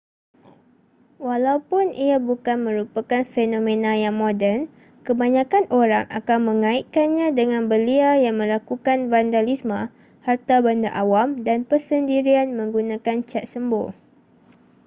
walaupun ia bukan merupakan fenomena yang moden kebanyakan orang akan mengaitkannya dengan belia yang melakukan vandalisme harta benda awam dan persendirian menggunakan cat sembur